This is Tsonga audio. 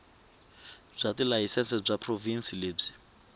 bya tilayisense bya provhinsi lebyi